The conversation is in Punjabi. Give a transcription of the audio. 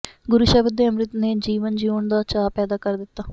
ਗੁਰ ਸ਼ਬਦ ਦੇ ਅੰਮ੍ਰਿਤ ਨੇ ਜੀਵਨ ਜਿਉਣ ਦਾ ਚਾਅ ਪੈਦਾ ਕਰ ਦਿਤਾ